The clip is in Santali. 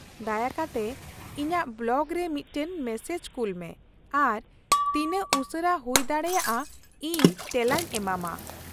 ᱫᱟᱭᱟ ᱠᱟᱛᱮ ᱤᱧᱟᱹᱜ ᱵᱞᱚᱜᱨᱮ ᱢᱤᱫᱴᱟᱝ ᱢᱮᱥᱮᱡ ᱠᱩᱞ ᱢᱮ ᱟᱨ ᱛᱤᱱᱟᱹᱜ ᱩᱥᱟᱹᱨᱟ ᱦᱩᱭᱫᱟᱲᱮᱭᱟᱜᱼᱟ ᱤᱧ ᱛᱮᱞᱟᱧ ᱮᱢᱟᱢᱟ ᱾